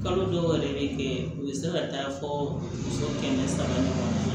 Kalo dɔw yɛrɛ bɛ kɛ u bɛ se ka taa fɔ muso kɛmɛ saba ɲɔgɔn ma